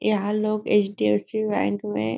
यहाँ लोग HDFC. Bank में--